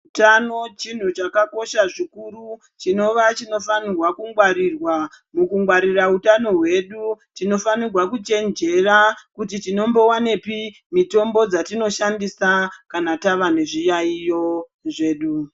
Utano chintu chakakosha zvikuru chinova chinofanihwa kungwarirwa. Mukungwarira utano hwedu tinofanirwa kuchenjera kuti tinombovanepi mitombo dzatinoshandisa kana tava nezviyaiyo zvedu.